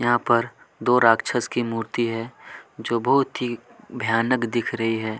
यहाँ पर दो राक्षश की मूर्ति है जो बहुत ही भयानक दिख रही है।